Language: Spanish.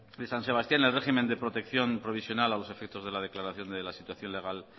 de san sebastián el régimen de protección provisional a los efectos de la declaración de la situación legal